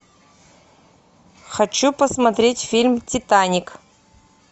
хочу посмотреть фильм титаник